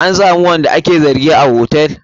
An samu wanda ake zargi a hotel na giya?